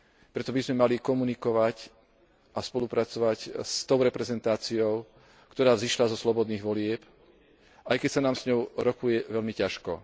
Preto by sme mali komunikovať a spolupracovať s tou reprezentáciou, ktorá vzišla zo slobodných volieb, aj keď sa nám s ňou rokuje veľmi ťažko.